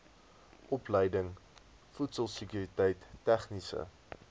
opleiding voedselsekuriteit tegniese